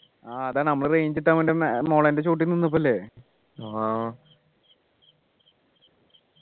ആഹ് അതാണ് നമ്മൾ range കിട്ടാൻ വേണ്ടി മുളെൻ്റെ ചോട്ടിൽ നിന്നപ്പോഴല്ല